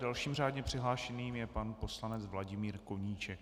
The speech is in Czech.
Dalším řádně přihlášeným je pan poslanec Vladimír Koníček.